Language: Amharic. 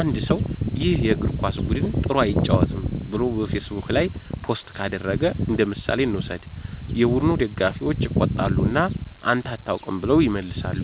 አንድ ሰው “ይህ የእግር ኳስ ቡድን ጥሩ አይጫወትም” ብሎ በፌስቡክ ላይ ፖስት ካደረገ እንደምሳሌ እንውሰድ። የቡድኑ ደጋፊዎች ይቆጣሉ እና “አንተ አታውቅም” ብለው ይመልሳሉ።